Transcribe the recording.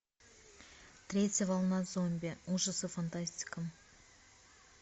третья волна зомби ужасы фантастика